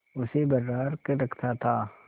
उसे बर्राक रखता था